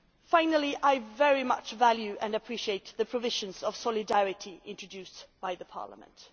Finally, I very much value and appreciate the provisions on solidarity introduced by Parliament.